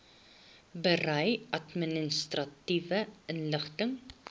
berei administratiewe inligting